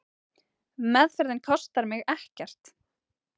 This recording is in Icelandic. Meðferðin kostar mig ekkert.